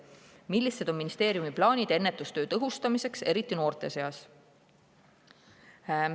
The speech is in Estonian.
Millised on ministeeriumi plaanid ennetustöö tõhustamiseks, eriti noorte seas?